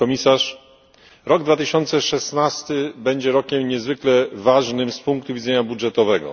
Pani Komisarz! Rok 2016 będzie rokiem niezwykle ważnym z punktu widzenia budżetowego.